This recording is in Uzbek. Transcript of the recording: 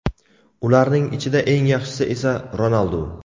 Ularning ichida eng yaxshisi esa Ronaldu.